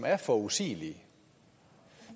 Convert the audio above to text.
er forudsigelige